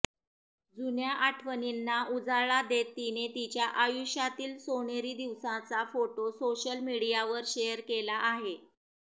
जुन्या आठवणींना उजाळा देत तिने तिच्या आयुष्यातील सोनेरी दिवसाचा फोटो सोशल मीडियावर शेअर केला आहे